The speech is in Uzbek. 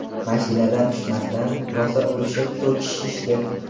Mashinadan tushmasdan, rosa urishib, so‘kishishdi.